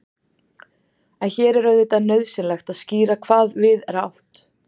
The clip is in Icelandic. en hér er auðvitað nauðsynlegt að skýra hvað við er átt